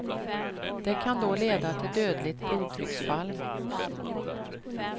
Det kan då leda till dödligt blodtrycksfall.